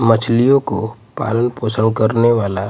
मछलियों को पालन पोषण करने वाला--